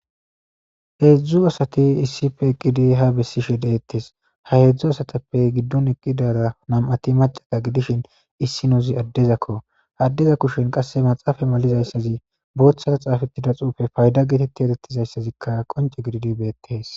Heedzdzu asati issife eqqidi ha bessishshe deettes ha heedzdzu asatappe giddon eqqidara nam'ati macata gidishin issinoozi addezakko addeza kushen qasse maxaafa malizayssazi booththara xaafettida xuufe fayda geetetti erettizayssazikka qonce gididi beettees